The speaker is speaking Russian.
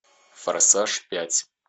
форсаж пять